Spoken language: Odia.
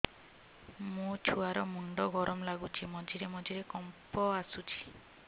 ମୋ ଛୁଆ ର ମୁଣ୍ଡ ଗରମ ଲାଗୁଚି ମଝିରେ ମଝିରେ କମ୍ପ ଆସୁଛି